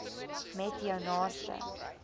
met jou naaste